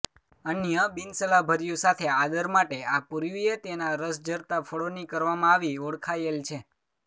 અન્ય બિનસલાહભર્યું સાથે આદર માટે આ પૂર્વીય તેનાં રસ ઝરતાં ફળોની કરવામાં આવી ઓળખાયેલ છે